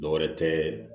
Dɔwɛrɛ tɛ